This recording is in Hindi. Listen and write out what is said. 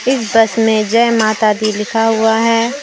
इस बस में जय माता दी लिखा हुआ है।